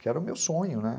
Que era o meu sonho, né?